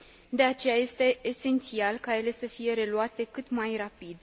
De aceea, este esențial ca ele să fie reluate cât mai rapid.